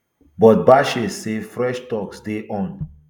but bashe say fresh talks dey on